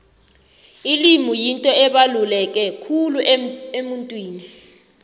ilimi yinto ebaluleke khulu emuntwini